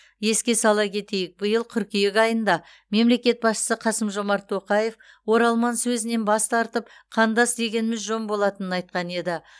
еске сала кетейік биыл қыркүйек айында мемлекет басшысы қасым жомарт тоқаев оралман сөзінен бас тартып қандас дегеніміз жөн болатынын айтқан еді